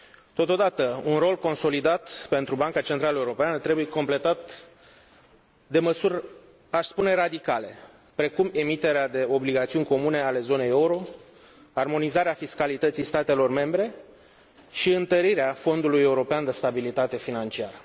Totodată, un rol consolidat pentru Banca Centrală Europeană trebuie completat de măsuri, aș spune, radicale, precum emiterea de obligațiuni comune ale zonei euro, armonizarea fiscalității statelor membre și întărirea Fondului european de stabilitate financiară.